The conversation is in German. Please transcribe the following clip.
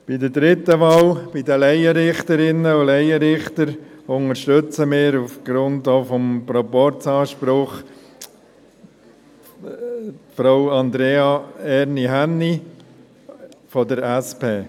Bei der dritten Wahl, bei den Laienrichterinnen und Laienrichtern, unterstützen wir auch aufgrund des Proporzanspruchs Frau Andrea Erni Hänni von der SP.